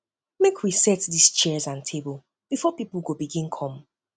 make we set di chairs and tables before pipo go begin come